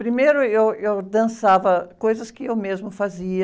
Primeiro, eu, eu dançava coisas que eu mesma fazia.